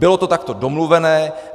Bylo to takto domluveno.